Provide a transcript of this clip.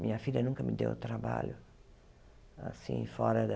Minha filha nunca me deu trabalho, assim, fora da